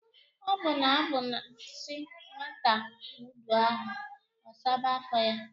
O na-abu a si nwata wuba ahu, o saba afo ya.